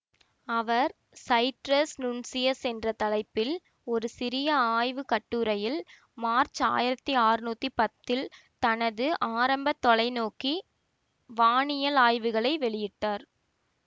அவர் Sidereus Nuncius என்ற தலைப்பில் ஒரு சிறிய ஆய்வு கட்டுரையில் மார்ச் ஆயிரத்தி அறுநூற்றி பத்தில் தனது ஆரம்ப தொலைநோக்கி வானியல் ஆய்வுகளை வெளியிட்டார்